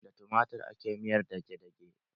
Da tumatir ake miyar dage-dage.